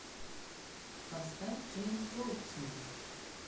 поставь джерри голдсмит